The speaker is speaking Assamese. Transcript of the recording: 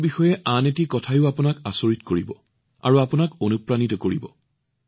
তেওঁৰ বিষয়ে আন বহুতো কথা আছে যিয়ে আপোনালোকক আচৰিত কৰিব আৰু অনুপ্ৰাণিত কৰিব